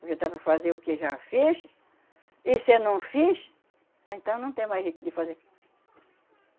Porque dá para fazer o que já fez, e se não fiz, ah, então não tem mais jeito de fazer.